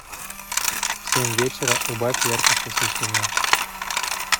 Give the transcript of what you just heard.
в семь вечера убавь яркость освещения